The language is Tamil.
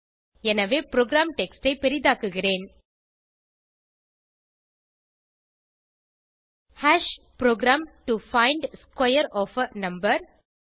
எனவே புரோகிராம் டெக்ஸ்ட் ஐ பெரிதாக்குகிறேன் program to find square of a number